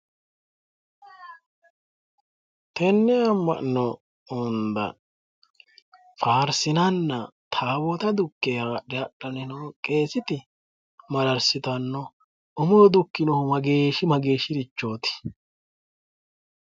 tenne ama'no hunda faarsinanna taawoota haadhe hadhanni noo qeeseti mararsitanno umunni dukke haadhe hadhanni noorichi mageeshshirichooti.